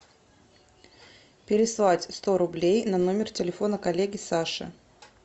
переслать сто рублей на номер телефона коллеге саше